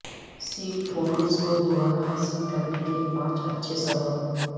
cell phones کو دوبارہ حاصل کرنے کے پانچ اچھے سبب